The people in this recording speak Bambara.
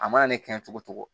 A mana ne kɛ cogo o cogo